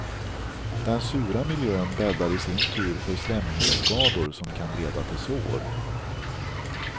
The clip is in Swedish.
Den sura miljön bäddar i sin tur för slemhinneskador som kan leda till sår.